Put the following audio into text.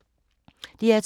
DR2